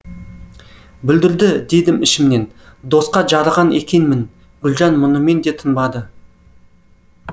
бүлдірді дедім ішімнен досқа жарыған екенмін гүлжан мұнымен де тынбады